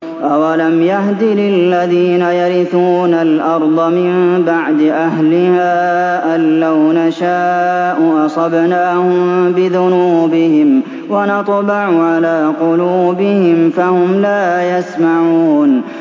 أَوَلَمْ يَهْدِ لِلَّذِينَ يَرِثُونَ الْأَرْضَ مِن بَعْدِ أَهْلِهَا أَن لَّوْ نَشَاءُ أَصَبْنَاهُم بِذُنُوبِهِمْ ۚ وَنَطْبَعُ عَلَىٰ قُلُوبِهِمْ فَهُمْ لَا يَسْمَعُونَ